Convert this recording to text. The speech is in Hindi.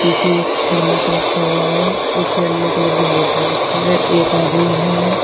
पीछे एक थर्मस रखा हुआ है एक येलो कलर की बोतल रखी है एक आदमी है।